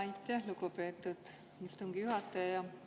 Aitäh, lugupeetud istungi juhataja!